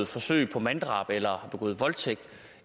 forsøg på manddrab eller har begået voldtægt